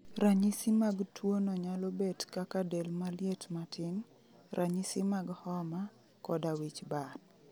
Ranyisi mag tuo no nyalo bet kaka del maliet matin, ranyisi mag homa, koda wich bar